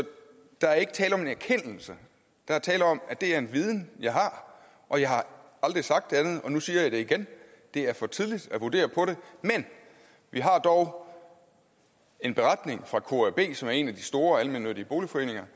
der er ikke tale om en erkendelse der er tale om at det er en viden jeg har og jeg har aldrig sagt andet og nu siger jeg det igen det er for tidligt at vurdere det men vi har dog en beretning fra kab som er en af de store almennyttige boligforeninger